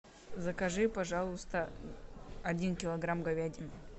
закажи пожалуйста один килограмм говядины